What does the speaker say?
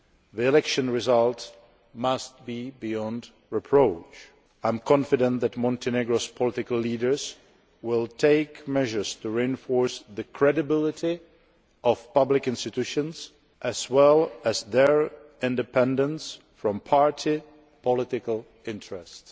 The election result must be beyond reproach. I am confident that Montenegro's political leaders will take measures to reinforce the credibility of public institutions as well as their independence from party political interests.